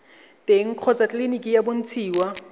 teng kgotsa tleleniki go bontshiwa